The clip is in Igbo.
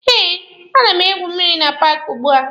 Eh, a na m egwu mmịrị na paaki ugbua.